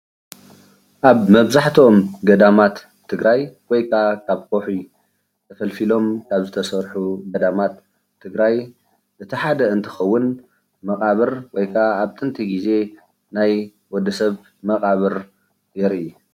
ኣብ መብዛሕትኦም ገዳማት ትግራይ ወይ ከዓ ካብ ከውሒ ተፈልፊሎም ካብ ዝተሰርሑ ገዳማት ትግራይ እቲ ሓደ እንትኸውን መቃብር ወይ ከዓ ኣብ ጥንቲ ግዜ ናይ ወድ ሰብ መቃብር የርኢ።